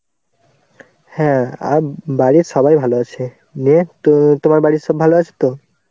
হ্যাঁ আর বাড়ির সবাই ভালো আছে নিয়ে তো তোমার বাড়ির সব ভালো আছে তো?